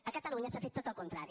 a catalunya s’ha fet tot el contrari